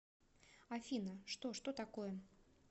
афина что что такое